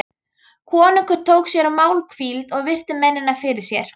Konungur tók sér málhvíld og virti mennina fyrir sér.